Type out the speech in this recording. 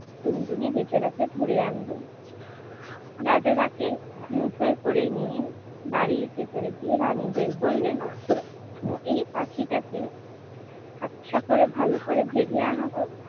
টুনটুনি বেচারাকে ধরে আনলো। রাজা তাকে মুঠোয় করে নিয়ে বাড়ির ভেতরে গিয়ে রানীদের বললেন এই পাখিটাকে আচ্ছা করে ভালো করে ভেজে আনো তো